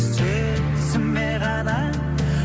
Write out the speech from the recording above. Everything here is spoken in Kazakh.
сөзіме ғана